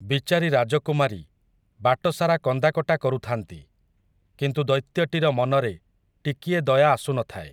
ବିଚାରି ରାଜକୁମାରୀ, ବାଟସାରା କନ୍ଦାକଟା କରୁଥାନ୍ତି, କିନ୍ତୁ ଦୈତ୍ୟଟିର ମନରେ, ଟିକିଏ ଦୟା ଆସୁନଥାଏ ।